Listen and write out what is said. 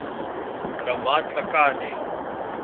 ramatlakane